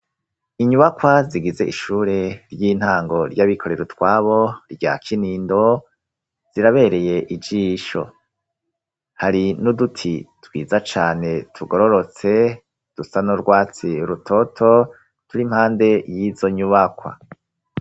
Inyubakwa zigize ishure ry'intango ry'abikorera utwabo rya kinindo zirabereye ijisho hari nuduti twiza cane tugororotse dusano rwatsi rutoto turi mpande y'izo nyubakwa.